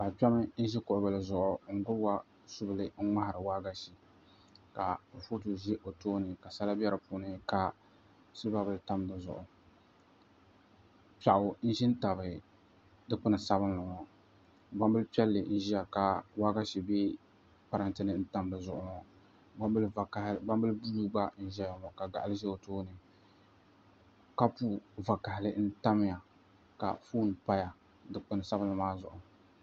Paɣa kpɛm n ʒi kuɣu bili zuɣu n gbubi suu n ŋmahari waagashe ka kurifooti ʒʋ o tooni ka sala bɛ di puuni ka silba bili tam dizuɣu piɛɣu n ʒi n tabi dikpun piɛlli ŋo gbambili sabinli n ʒiya ka waagashe bɛ parantɛ ni n tam di zuɣu ŋo gbambili buluu gba n ʒɛya ŋo ka gaɣali ʒɛ o tooni kapu vakaɣali n tamya ka foon paya dikpun sabinli maa zuɣu